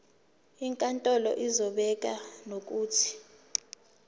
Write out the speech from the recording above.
inkantolo izobeka nokuthi